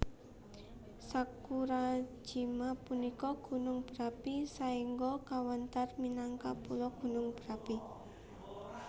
Sakurajima punika gunung berapi saéngga kawéntar minangka pulo gunung berapi